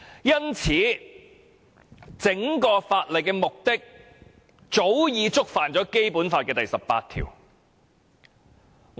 因此，整項《條例草案》的目的早已觸犯《基本法》第十八條。